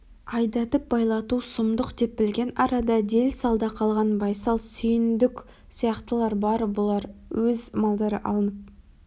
айдатып байлату сұмдық деп білген арада дел-салда қалған байсал сүйіндік сияқтылар бар бұлар өз малдары алынып